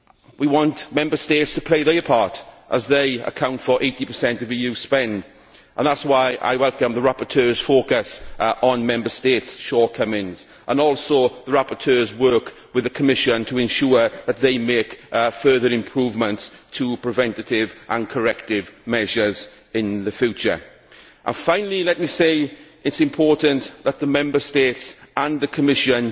we want Member States to play their part, as they account for 80 of EU spend, and that is why I welcome the rapporteur's forecasts on Member States' shortcomings and also the rapporteur's work with the Commission to ensure they make further improvements to preventive and corrective measures in the future. Finally, let me say that it is important that the Member States and the Commission